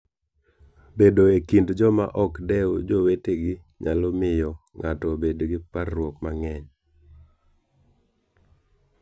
Bedo e kind joma ok dew jowetegi nyalo miyo ng'ato obed gi parruok mang'eny.